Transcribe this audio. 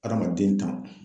Adamaden tan